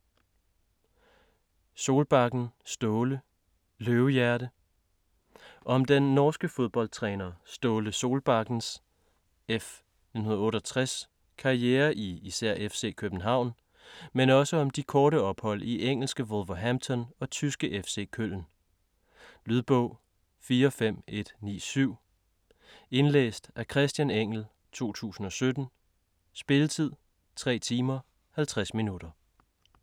Solbakken, Ståle: Løvehjerte Om den norske fodboldtræner Ståle Solbakkens (f. 1968) karriere i især FC København, men også om de korte ophold i engelske Wolverhampton og tyske FC Köln. Lydbog 45197 Indlæst af Christian Engell, 2017. Spilletid: 3 timer, 50 minutter.